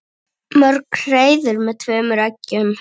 Mörg hreiður með tveimur eggjum.